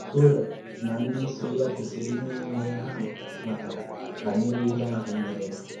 Kọrah na ndị so ya kwesịrị inwe ihe ha matara banyere ihe ahụ mere.